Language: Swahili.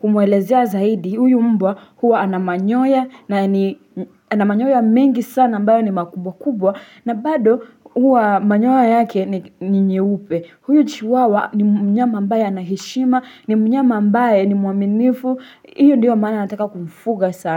kumuelezea zaidi. Huyu mbwa huwa ana manyoya na ni ana manyoya mengi sana ambayo ni makubwa kubwa na bado huwa manyoya yake ni nyeupe. Huyu chiwawa ni mnyama ambaye ana heshima. Ni mnyama ambaye ni muaminifu hiyo ndiyo maana nataka kumfuga sana.